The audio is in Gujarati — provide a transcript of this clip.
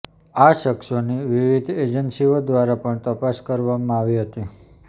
આ શખ્સોની વિવિધ એજન્સીઓ દ્વારા પણ તપાસકરવામાં આવી હતી